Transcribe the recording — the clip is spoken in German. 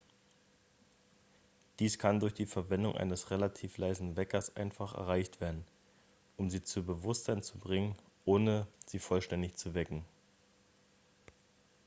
dies kann durch die verwendung eines relativ leisen weckers einfach erreicht werden um sie zu bewusstsein zu bringen ohne sie vollständig zu wecken